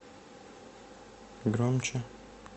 громче